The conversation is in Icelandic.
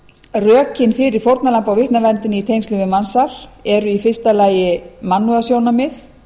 rökin fyrir fórnarlamba og vitnaverndina í tengslum við mansal eru í fyrsta lagi mannúðarsjónarmið